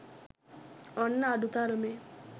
ඔන්න අඩු තරමේ